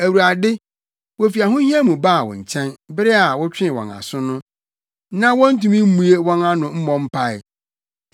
Awurade, wofi ahohia mu baa wo nkyɛn; bere a wotwee wɔn aso no, na wontumi mmue wɔn ano mpo mmɔ mpae.